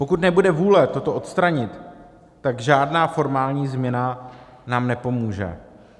Pokud nebude vůle toto odstranit, tak žádná formální změna nám nepomůže.